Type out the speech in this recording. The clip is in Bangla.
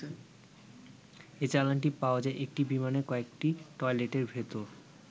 এই চালানটি পাওয়া যায় একটি বিমানের কয়েকটি টয়লেটের ভেতর।